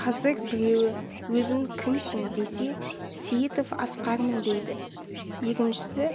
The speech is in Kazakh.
қазір біреуі өзін кімсің десе сейітов асқармын дейді екіншісі